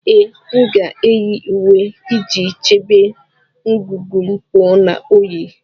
Ee, m ga-eyi uwe iji chebe ngụgụ m pụọ na oyi